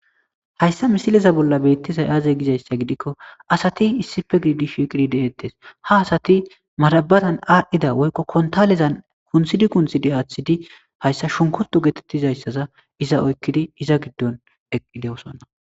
Hayssa misileza bolla beettizay aaze gizayssa gidikko asati issife giidishiqirideettes ha asati marabatan aadhdhida woykko kontalezan kunthidi kunthidi aaththidi hayssa shunkurtu geetettizayssaza iza oykkidi iza giddon eqqide'osonna.